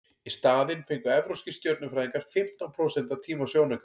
í staðinn fengu evrópskir stjörnufræðingar fimmtán prósent af tíma sjónaukans